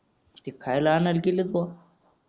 नुसतं खायला आणायला गेलेत बाबा